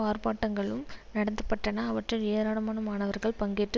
ஆர்ப்பாட்டங்களும் நடத்த பட்டன அவற்றில் ஏராளமான மாணவர்கள் பங்கேற்று